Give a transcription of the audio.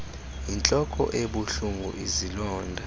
yintloko ebuhlungu izilonda